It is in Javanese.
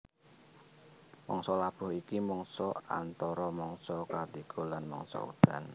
Mangsa labuh iku mangsa antara mangsa katiga lan mangsa udan